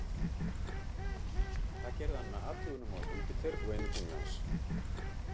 það gerði hann með athugunum á júpíter og einu tungli hans